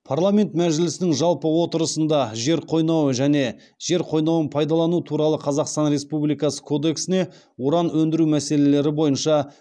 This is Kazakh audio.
парламент мәжілісінің жалпы отырысында жер қойнауы және жер қойнауын пайдалану туралы қазақстан республикасы кодексіне уран өндіру мәселелері бойынша